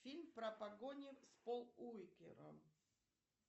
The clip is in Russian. фильм про погони с полом уокером